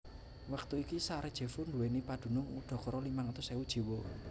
Wektu iki Sarajevo nduwèni padunung udakara limang atus ewu jiwa